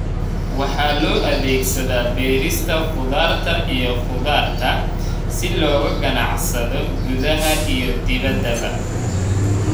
Waxa loo adeegsadaa beerista khudaarta iyo khudaarta si looga ganacsado gudaha iyo dibaddaba.